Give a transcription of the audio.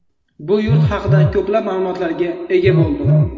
Bu yurt haqida ko‘plab ma’lumotlarga ega bo‘ldim.